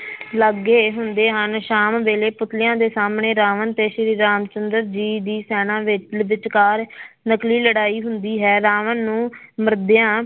ਲੱਗੇ ਹੁੰਦੇ ਹਨ, ਸ਼ਾਮ ਵੇਲੇ ਪੁੱਤਲਿਆਂ ਦੇ ਸਾਹਮਣੇ ਰਾਵਣ ਤੇ ਸ੍ਰੀ ਰਾਮ ਚੰਦਰ ਜੀ ਦੀ ਸੈਨਾ ਵਿਚਕਾਰ ਨਕਲੀ ਲੜਾਈ ਹੁੰਦੀ ਹੈ ਰਾਵਣ ਨੂੰ ਮਰਦਿਆਂ